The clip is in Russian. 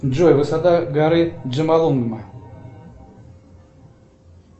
джой высота горы джомолунгма